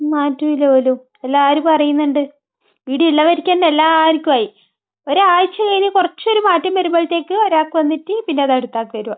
മാറ്റമില്ല പോലും എല്ലാവരും പറയുന്നുണ്ട്. ഇവിടെ ഉള്ളവർക്ക് തന്നെ എല്ലാവർക്കുമായി. ഒരാഴ്ച കഴിഞ്ഞ് കുറച്ചൊരു മാറ്റം വരുമ്പോഴത്തേക്കും ഒരാൾക്ക് വന്നിട്ട് പിന്നെ അടുത്തയാൾക്ക് വരുവാ.